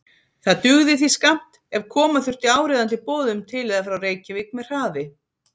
Það dugði því skammt, ef koma þurfti áríðandi boðum til eða frá Reykjavík með hraði.